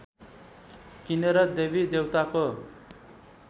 किनेर देवी देवताको